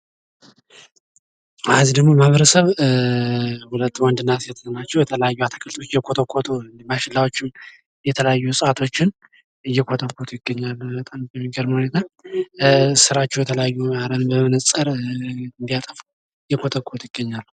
እነዚህ ደግሞ ማህበረሰብ ሁለት ወንድ እና ሴት ናቸው። የተለያዩ አትክልቶች እየኮተኮቱ፣ የተለያዩ እጽዋቶችን እየኮተኮቱ ይገኛሉ። በጣም በሚገርም ሁኔታ ስራቸው የተለዩ አረም በመመንጸር እያጠፉ እየኮተኮቱ ይገኛሉ።